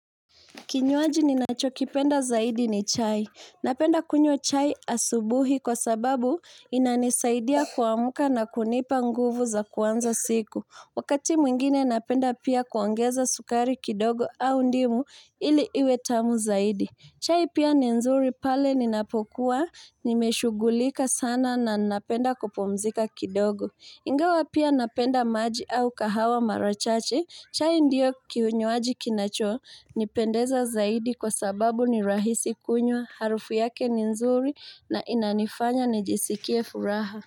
Kinywaji ninachokipenda zaidi ni chai. Napenda kunywa chai asubuhi kwasababu inanisaidia kiamka na kunipa nguvu za kuanza siku. Wakati mwingine napenda pia kuongeza sukari kidogo au ndimu ili iwe tamu zaidi. Chai pia ni nzuri pale ninapokuwa nimeshughulika sana na napenda kupumzika kidogo. Ingawa pia napenda maji au kahawa mara chache, chai ndio kinywaji kinachonipendeza zaidi kwa sababu ni rahisi kunywa, harufu yake ni nzuri na inanifanya nijisikie furaha.